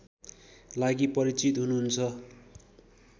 लागि परिचित हुनुहुन्छ